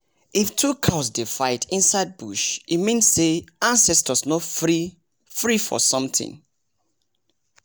if two cows dey fight inside bush e means say ancestors no free free for something